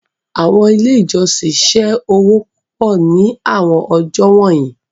Awọn ile ijọsin ṣe owo pupọ ni awọn ọjọ wọnyi